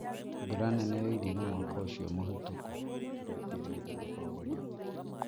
Mbura nene yoirire mwaka ũcio mũhĩtũku